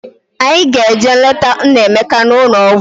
Anyị ga-eje leta Nnaemeka n'ụlọ ọgwụ